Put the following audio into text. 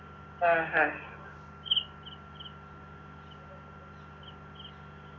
ആ ഹാ